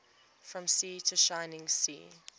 from sea to shining sea